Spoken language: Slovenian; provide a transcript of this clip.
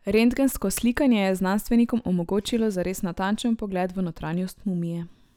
Rentgensko slikanje je znanstvenikom omogočilo zares natančen vpogled v notranjost mumije.